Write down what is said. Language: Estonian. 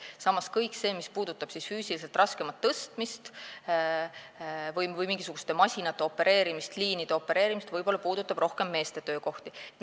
Samas, kõik see, mis puudutab füüsiliselt raskemat tööd, millegi tõstmist või mingisuguste masinate, liinide opereerimist, puudutab võib-olla rohkem meeste töökohti.